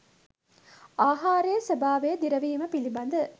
ආහාරයේ ස්වභාවය දිරවීම පිළිබඳ